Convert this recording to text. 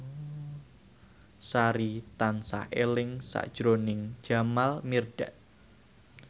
Sari tansah eling sakjroning Jamal Mirdad